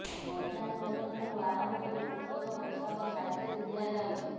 ମଧ୍ୟାହ୍ନ ଭୋଜନଠାରୁ ଆରମ୍ଭ କରି ପୁସ୍ତକ ପୋଷାକ ସାଇକେଲ ଦିଆଯାଉଛି